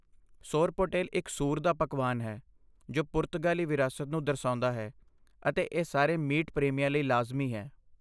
ਸੋਰਪੋਟੇਲ ਇੱਕ ਸੂਰ ਦਾ ਪਕਵਾਨ ਹੈ ਜੋ ਪੁਰਤਗਾਲੀ ਵਿਰਾਸਤ ਨੂੰ ਦਰਸਾਉਂਦਾ ਹੈ ਅਤੇ ਇਹ ਸਾਰੇ ਮੀਟ ਪ੍ਰੇਮੀਆਂ ਲਈ ਲਾਜ਼ਮੀ ਹੈ।